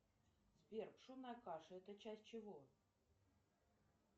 сбер пшенная каша это часть чего